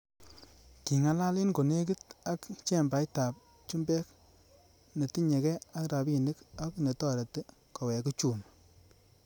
Kingalal en konekit ak chembait ab chumbek netinye gee ak rabinik ak netoreti kowek uchumi.